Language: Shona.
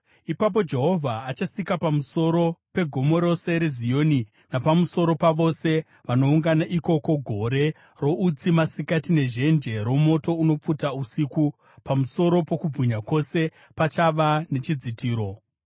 Ipapo Jehovha achasika pamusoro pegomo rose reZioni napamusoro pavose vanoungana ikoko gore routsi masikati nezhenje romoto unopfuta usiku; pamusoro pokubwinya kwose pachava nechidzitiro.